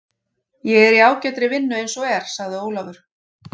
Ég er í ágætri vinnu eins og er, sagði Ólafur.